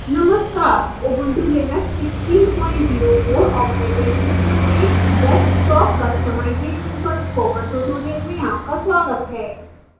नमस्कार ubuntu linux 1604 operating system में desktop customization पर spoken tutorial में आपका स्वागत है